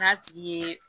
N'a tigi ye